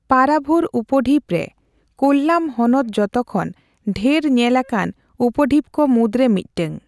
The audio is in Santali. ᱯᱟᱨᱟᱵᱷᱩᱨ ᱩᱯᱰᱷᱤᱯᱨᱮ ᱠᱳᱞᱞᱟᱢ ᱦᱚᱱᱚᱛ ᱡᱚᱛᱚᱠᱷᱚᱱ ᱰᱷᱮᱨ ᱧᱮᱞ ᱟᱠᱟᱱ ᱩᱯᱰᱤᱯ ᱠᱚ ᱢᱩᱫᱽᱨᱮ ᱢᱤᱫᱴᱟᱝ᱾